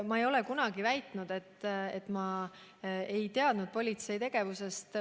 Ma ei ole kunagi väitnud, et ma ei teadnud politsei tegevusest.